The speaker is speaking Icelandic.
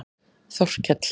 Þorkell